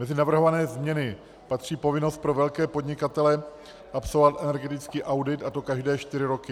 Mezi navrhované změny patří povinnost pro velké podnikatele absolvovat energetický audit, a to každé čtyři roky.